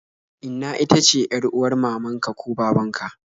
Inna ita ce yar'uwar mamaka ko babanka